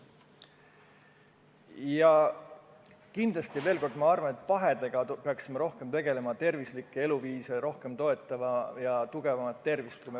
Ja kindlasti, kordan seda veel, peaksime rohkem tegelema pahedega, toetama tervislikku eluviisi ja tugevamat tervist.